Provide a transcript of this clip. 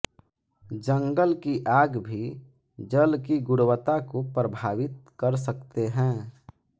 जंगल की आग भी जल की गुणवत्ता को प्रभावित कर सकते है